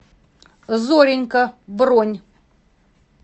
зоренька бронь